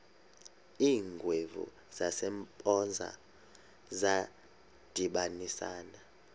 iingwevu zasempoza zadibanisana